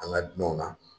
An ka dunanw na